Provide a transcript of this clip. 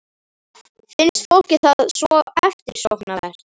Finnst fólki það svo eftirsóknarvert?